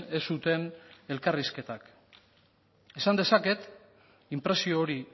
ez zuten elkarrizketak esan dezaket inpresio hori